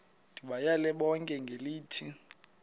ndibayale bonke ngelithi